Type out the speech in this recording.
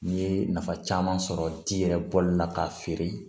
N'i ye nafa caman sɔrɔ ji yɛrɛ bɔli la k'a feere